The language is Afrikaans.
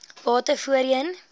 bate voorheen